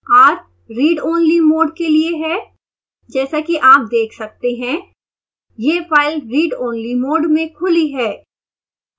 r read only modeके लिए है